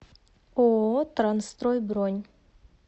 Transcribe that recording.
ооо трансстрой бронь